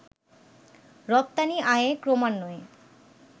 রপ্তানি আয়ে ক্রমান্বয়ে